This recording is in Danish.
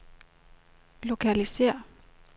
lokalisér